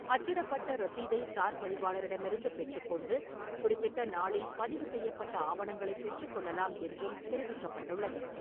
அச்சிடப்பட்ட ரசீதைச் சார்பதிவாளரிடமிருந்து பெற்றுக்கொண்டு, குறிப்பிட்ட நாளில் பதிவு செய்யப்பட்ட ஆவணங்களைப் பெற்றுக்கொள்ளலாம் என்றும் தெரிவிக்கப்பட்டுள்ளது.